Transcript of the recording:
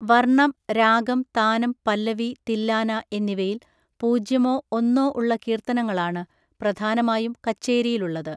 വർണ്ണം, രാഗം, താനം, പല്ലവി, തില്ലാന എന്നിവയിൽ പൂജ്യമോ ഒന്നോ ഉള്ള കീർത്തനങ്ങളാണ് പ്രധാനമായും കച്ചേരിയിലുള്ളത്.